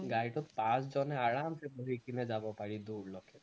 গাড়ীটোত পাঁচজনে আৰামসে বহি কিনে যাব পাৰি দূৰলৈকে